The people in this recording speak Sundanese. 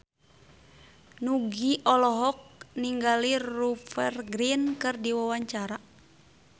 Nugie olohok ningali Rupert Grin keur diwawancara